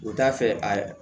U t'a fɛ a